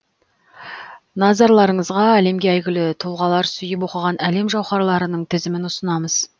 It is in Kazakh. назарларыңызға әлемге әйгілі тұлғалар сүйіп оқыған әлем жауһарларының тізімін ұсынамыз